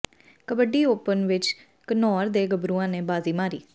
kabaddi open ਵਿੱਚ ਘਨੌਰ ਦੇ ਗੱਭਰੂਆਂ ਨੇ ਬਾਜ਼ੀ ਮਾਰੀ